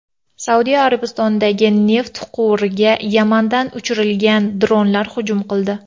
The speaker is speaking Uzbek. Saudiya Arabistonidagi neft quvuriga Yamandan uchirilgan dronlar hujum qildi.